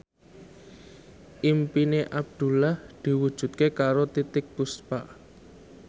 impine Abdullah diwujudke karo Titiek Puspa